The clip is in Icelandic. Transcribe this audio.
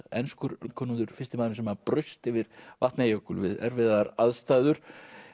enskur landkönnuður fyrsti maðurinn sem braust yfir Vatnajökul við erfiðar aðstæður